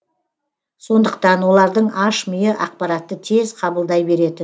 сондықтан олардың аш миы ақпаратты тез қабылдай беретін